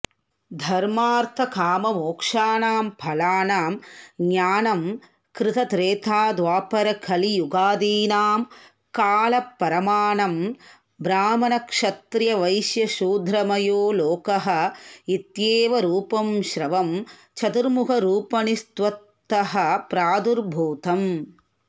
धर्मार्थकाममोक्षाणां फलानां ज्ञानं कृतत्रेताद्वापरकलियुगादीनां कालपरमाणं ब्राह्मणक्षत्रियवैश्यशूद्रमयो लोकः इत्येवरूपं स्रवं चतुर्मुखरूपिणस्त्वत्तः प्रादुर्भूतम्